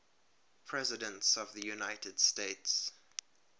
presidents of the united states